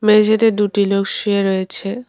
মেঝেতে দুটি লোক শুয়ে রয়েছে।